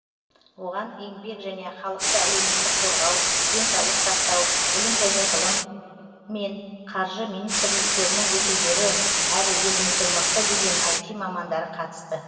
оған еңбек және халықты әлеуметтік қорғау денсаулық сақтау білім және ғылым мен қаржы министрліктерінің өкілдері әрі еліміздің мықты деген іт мамандары қатысты